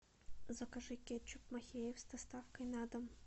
закажи кетчуп махеев с доставкой на дом